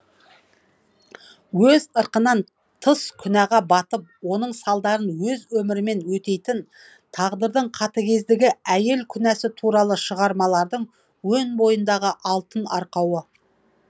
өз ырқынан тыс күнәға батып оның салдарын өз өмірімен өтейтін тағдырдың қатыгездігі әйел күнәсі туралы шығармалардың өн бойындағы алтын арқауы